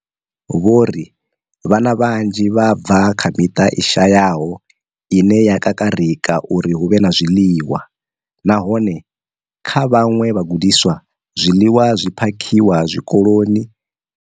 Vho ri vhana vhanzhi vha bva kha miṱa i shayaho ine ya kakarika uri hu vhe na zwiḽiwa, nahone kha vhaṅwe vhagudiswa, zwiḽiwa zwi phakhiwaho tshikoloni ndi zwone zwiḽiwa zwi zwoṱhe zwine vha zwi wana kha ḓuvha.